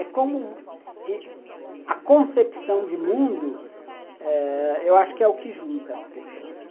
É como a concepção de mundo ãh... Eu acho que é o que junta as pessoas.